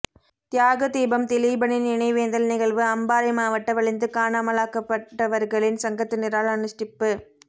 தியாக தீபம் திலீபனின் நினைவேந்தல் நிகழ்வு அம்பாறை மாவட்ட வலிந்து காணாமலாக்கப்பட்டவர்களின் சங்கத்தினரால் அனுஸ்டிப்பு